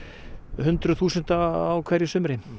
hundruð þúsunda á hverju sumri